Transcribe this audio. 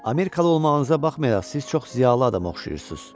Amerikalı olmağınıza baxmayaraq siz çox ziyalı adama oxşayırsız.